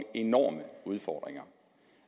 enorme udfordringer